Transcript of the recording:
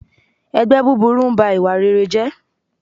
Ẹgbẹ́ búburú n ba ìwà rere jẹ́